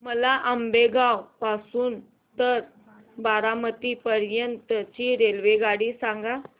मला आंबेगाव पासून तर बारामती पर्यंत ची रेल्वेगाडी सांगा